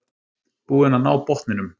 Búin að ná botninum